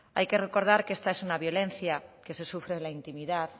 hay que recordar que esta es una violencia que se sufre en la intimidad